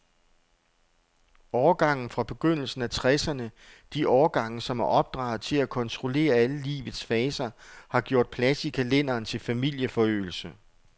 Årgangene fra begyndelsen af tresserne, de årgange, som er opdraget til at kontrollere alle livets faser, har gjort plads i kalenderen til familieforøgelse.